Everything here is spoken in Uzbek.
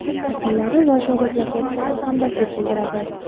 yaqinlari va shogirdlariga chuqur hamdardlik bildiradi.